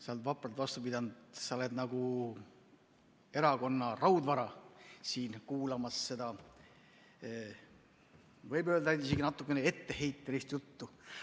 Sa oled vapralt vastu pidanud, sa oled nagu erakonna raudvara siin kuulamas, seda, võib öelda, isegi natukene etteheitvat juttu.